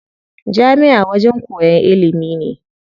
Jami'a wajen koyan ilimi ne.